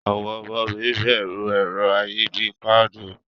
Awon omo mi beru ero ayi bii faanu.